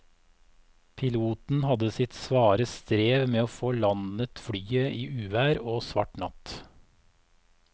Piloten hadde sitt svare strev med å få landet flyet i uvær og svart natt.